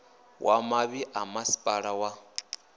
wa mavhi ḓa masipala wa